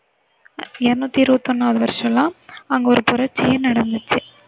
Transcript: இருநூத்தி இருபத்தி ஒண்ணாவது வருஷமெல்லாம் அங்க ஒரு புரட்சியே நடந்துச்சு.